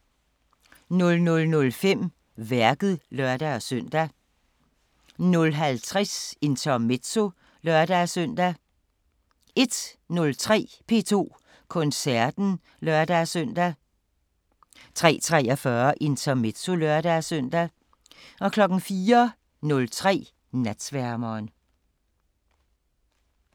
00:05: Værket (lør-søn) 00:50: Intermezzo (lør-søn) 01:03: P2 Koncerten (lør-søn) 03:43: Intermezzo (lør-søn) 04:03: Natsværmeren